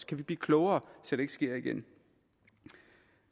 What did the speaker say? kan vi blive klogere så det ikke sker igen